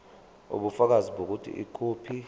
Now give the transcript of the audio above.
ubufakazi bokuthi ikhophi